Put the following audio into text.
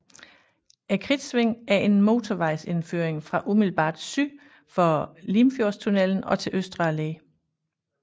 Kridtsvinget er en motorvejsindføring fra umiddelbart syd for Limfjordstunnelen og til Østre Alle